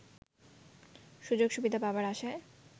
সুযোগ সুবিধা পাবার আশায়